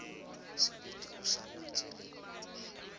sebete o sa natse le